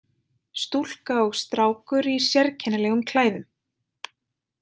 Stúlka og strákur í sérkennilegum klæðum.